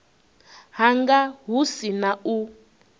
hanga hu si na u